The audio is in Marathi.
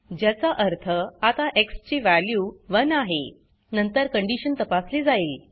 ज्याचा अर्थ आता एक्स ची वॅल्यू 1 आहे नंतर कंडीशन तपासली जाईल